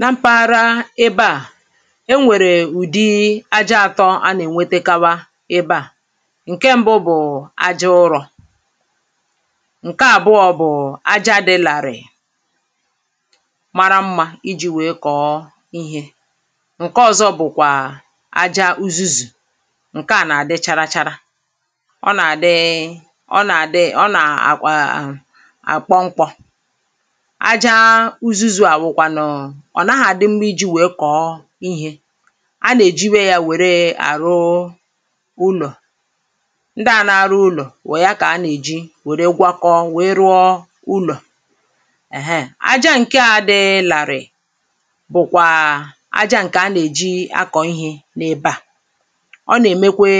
na mpaghara ebe à e nwèrè ụ̀dị aja atọ anà-ènwetekawa ebe à nkè ṁbụ bụ̀ aja ụrọ̇ ǹke àbụọ bụ̀ aja dị̇ làrị̀ị̀ mara mmȧ iji̇ wèe kọ̀ọ ihe ǹke ọ̀zọ bụ̀kwà aja uzuzù ǹke à nà-àdị chara chara ọ nà-àdị ọ nà-àdị ọ nà-àkpọ nkwọ̇ ụzụzụ̇ àwụkwànụ̀ ọ̀ naghȧ dị mma iji̇ wèe kọ̀ọ ihė a nà-èji wèe yȧ wère àrụ ụlọ̀ ndị à nȧ-ȧrụ ụlọ̀ wè ya kà a nà-èji wère gwakọọ wèe rụọ ụlọ̀ àhẹ ȧ aja ǹke a dịlàrị̀ bụ̀kwà aja ǹkè a nà-èji akọ̀ ihė n’ebe à ọ nà-èmekwe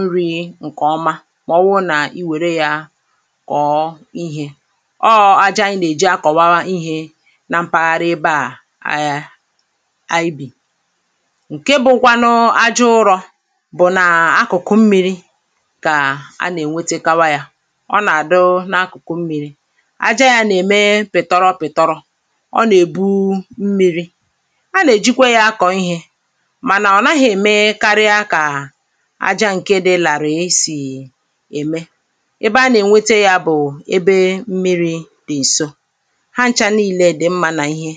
nri̇ ǹkè ọma màọwụ̇ nà i wère yȧ kọ̀ọ ihė ọọ̇ aja a nà-èji akọ̀wa ihė i bì ǹke bụ nkwanụ aja ụrọ̇ bụ nà akụ̀kụ mmi̇ri kà a nà-ènwete kawa ya ọ nà-àdụ n’akụ̀kụ mmi̇ri aja yȧ nà-ème pị̀tọrọpị̀tọrọ ọ nà-èbu mmi̇ri a nà-èjikwa yȧ akọ̀ ihė mànà ọ̀ naghị̇ ème karịa kà aja ǹke dị làrà esì ème ebe a nà-ènwete yȧ bụ̀ ebe mmi̇ri dị̀ èso ǹkẹ ọ̀ na-egyò wèe na-ewepụ̀ta ọ̀zọkwa ǹkẹ̀ ọ̀zọkwa ȧhụ̇, n’obì dị̀a n’obì dị̀a na ihė.